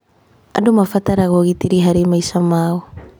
Andũ marabatara ũgitĩri harĩ maica mao.